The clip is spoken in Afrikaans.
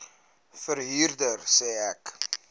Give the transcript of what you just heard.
verhuurder sê ek